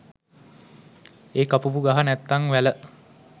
ඒ කපපු ගහ නැත්තං වැල